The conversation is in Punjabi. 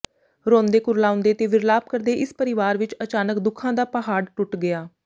ਰੋਂਦੇ ਕੁਰਲਾਉਂਦੇ ਤੇ ਵਿਰਲਾਪ ਕਰਦੇ ਇਸ ਪਰਿਵਾਰ ਵਿੱਚ ਅਚਾਨਕ ਦੁੱਖਾਂ ਦਾ ਪਹਾੜ ਟੁੱਟ ਗਿਆ